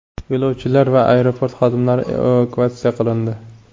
Yo‘lovchilar va aeroport xodimlari evakuatsiya qilindi.